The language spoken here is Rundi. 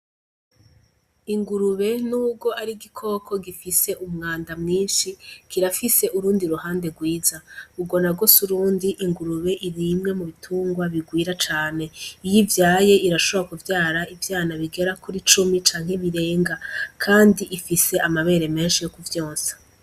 Ingurube ni urwo ari igikoko gifise umwanda mwinshi kirafise urundi ruhande rwiza ugo na go se urundi ingurube irimwe mu bitungwa bigwira cane iyivyaye irashobra kuvyara ivyana bigera kuri cumi canke birenga, kandi ifise amabere menshi yo kuvyonsa.